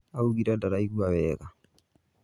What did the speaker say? Augire ndaraigua wega